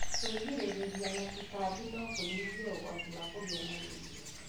Kwĩgirĩrĩria na tũtambi no kũnyihie ũgwati wa kũgĩa malaria.